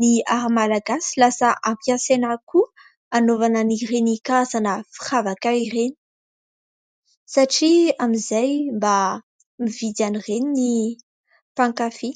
ny "art" malagasy lasa ampiasaina koa hanaovana an'ireny karazana firavaka ireny, satria amin'izay mba mividy an'ireny ny mpankafy.